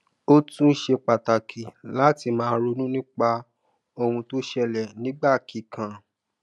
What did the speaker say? ó tún ṣe pàtàkì láti máa ronú nípa ohun tó ṣẹlè nígbà kíkan